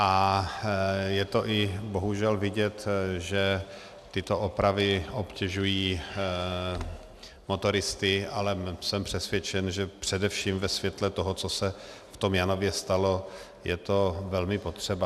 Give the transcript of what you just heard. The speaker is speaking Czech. A je to i bohužel vidět, že tyto opravy obtěžují motoristy, ale jsem přesvědčen, že především ve světle toho, co se v tom Janově stalo, je to velmi potřeba.